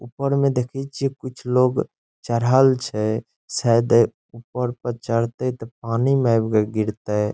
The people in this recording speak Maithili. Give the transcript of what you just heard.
ऊपर में देखय छीये कुछ लोग चढ़ल छै | शायद ऊपर पे चढतय ते पानी में एब गिरतेय।